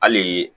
Hali